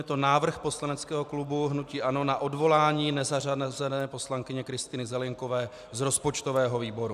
Je to návrh poslaneckého klubu hnutí ANO na odvolání nezařazené poslankyně Kristýny Zelienkové z rozpočtového výboru.